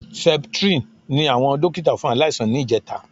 Septrin ni àwọn dókítà fún aláìsàn ní ìjẹta